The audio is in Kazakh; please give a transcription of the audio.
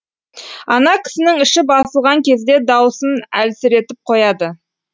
ана кісінің іші басылған кезде даусын әлсіретіп қояды